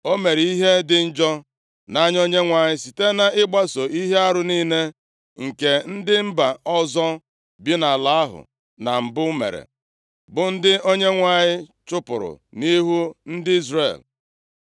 O mere ihe dị njọ nʼanya Onyenwe anyị, site nʼịgbaso ihe arụ niile nke ndị mba ọzọ bi nʼala ahụ na mbụ mere, bụ ndị Onyenwe anyị chụpụrụ nʼihu ndị Izrel.